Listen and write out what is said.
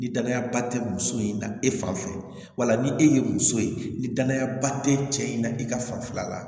Ni danaya ba tɛ muso in na e fan fɛ wala ni e ye muso ye ni danaya ba tɛ cɛ in na i ka fanfɛla la